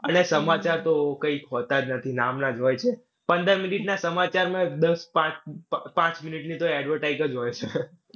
અને સમાચાર તો કઈ હોતા જ નથી. નામના જ હોય છે. પંદર minute ના સમાચારમાં દશ પાંચ અ પાંચ મિનિટની તો advertise જ હોઈ છે.